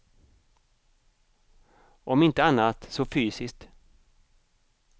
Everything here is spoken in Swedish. Om inte annat så fysiskt!